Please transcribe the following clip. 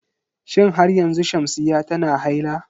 Shin har yanzu Shamsiyya tana haila?